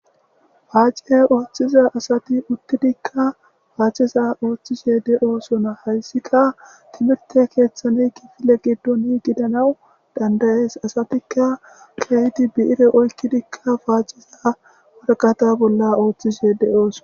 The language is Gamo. Paace ooththiza asati uttidikka paaciza ooththishe de'oosona hayssika tiimiirte keeththane kifile giddoni gidanawu dandayees asatikka ke'idi bi'ire oykidikka paaciza warqqata bolla ooththishe de'oosona